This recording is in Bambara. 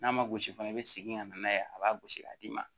N'a ma gosi fana i bɛ segin ka na n'a ye a b'a gosi k'a d'i ma